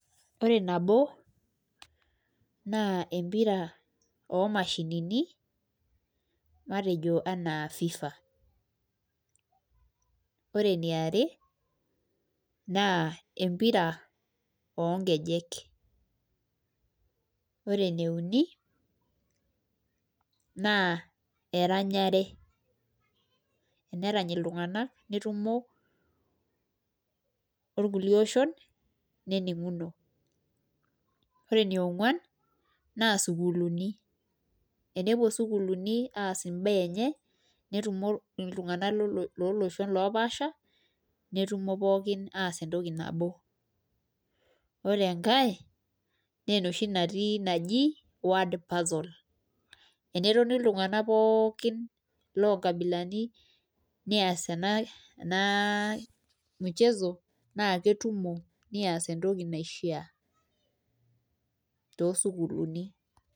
Ore nabo naa empira oo mashinini matejo enaa FIFA, ore eniare naa empira oo nkejek. ore ene uni naa eranyare, enerany iltung'anak netumo orkulie oshon nening'uno. Ore ene ong'uan naa sukuuluni, enepuo sukuuluni aas imbaa enye netumo iltung'anak looloshon loopaasha netumo pookin aas entoki nabo. Ore enkae nee enoshi natii naji word puzzle, enetoni iltung'anak pookin loo nkabilani neas ena ena mchezo naake etumo neas entoki naishia too sukuuluni.